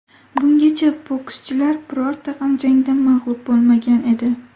Bungacha bokschilar birorta ham jangda mag‘lub bo‘lmagan edi.